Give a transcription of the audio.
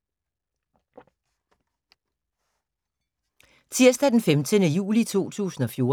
Tirsdag d. 15. juli 2014